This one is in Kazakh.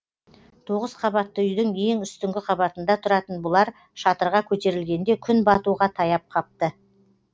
тоғыз қабатты үйдің ең үстіңгі қабатында тұратын бұлар шатырға көтерілгенде күн батуға таяп қапты